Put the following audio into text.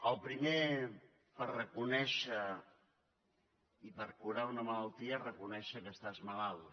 el primer per reconèixer i per curar una malaltia és reconèixer que estàs malalt